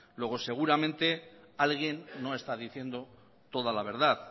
luego seguramente alguien no está diciendo toda la verdad